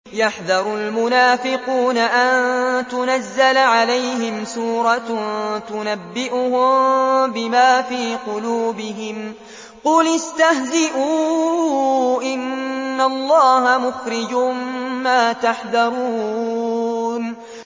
يَحْذَرُ الْمُنَافِقُونَ أَن تُنَزَّلَ عَلَيْهِمْ سُورَةٌ تُنَبِّئُهُم بِمَا فِي قُلُوبِهِمْ ۚ قُلِ اسْتَهْزِئُوا إِنَّ اللَّهَ مُخْرِجٌ مَّا تَحْذَرُونَ